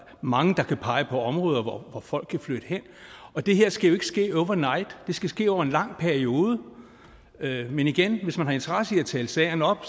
mange der kan pege på områder hvor folk kan flytte hen det her skal jo ikke ske over night det skal ske over en lang periode men igen hvis man har interesse i at tale sagerne op